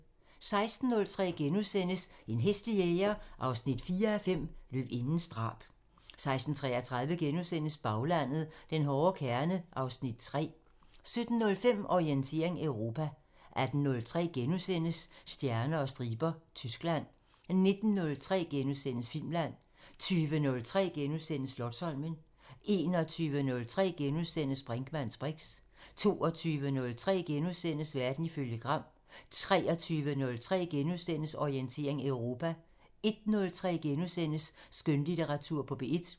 16:03: En hæslig jæger 4:5 – Løvindens drab * 16:33: Baglandet: Den hårde kerne (Afs. 3)* 17:05: Orientering Europa 18:03: Stjerner og striber – Tyskland * 19:03: Filmland * 20:03: Slotsholmen * 21:03: Brinkmanns briks * 22:03: Verden ifølge Gram * 23:03: Orientering Europa * 01:03: Skønlitteratur på P1 *